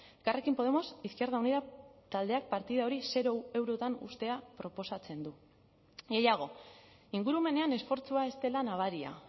elkarrekin podemos izquierda unida taldeak partida hori zero eurotan uztea proposatzen du gehiago ingurumenean esfortzua ez dela nabaria